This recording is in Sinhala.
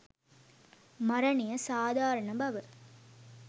මරණය සාධාරණ බව